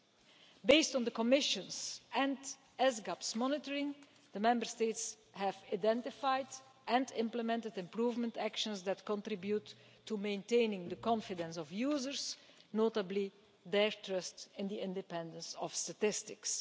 On the basis of the Commission's and ESGAB's monitoring, the Member States have identified and implemented improvement measures that contribute to maintaining the confidence of users, and particularly their trust in the independence of statistics.